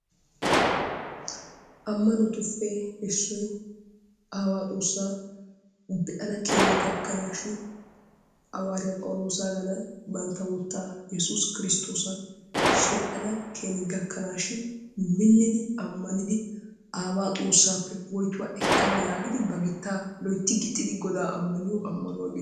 Ammanotuppe issoy aawaa xoossaa be'ana keeni gakkanaashin hawaariya phawuloosaagaadan bantta wottaa Yesus kiristtoosan sheedhdhana keeni gakkanaashin minnidi ammanidi aawaa xoossaappe. woytuwa ekkana yaagidi ba gittaa loytti gixxidi godaa ammaniyo ammanuwa geete,,,